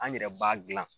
An yɛrɛ b'a dilan